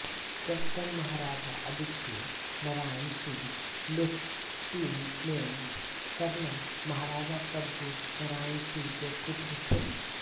captain Maharaja Aditya Narayan Singh lieutenant colonel Maharaja Prabhu Narayan Singh के पुत्र थे